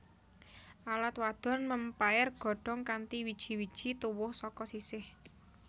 Alat wadon mèmpaer godhong kanthi wiji wiji tuwuh saka sisih